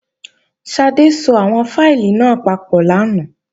Ṣadé so àwọn fáìlì náà papọ̀ lánàá